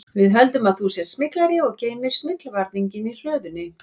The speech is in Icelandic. Við höldum að þú sért smyglari og geymir smyglvarninginn í hlöðunni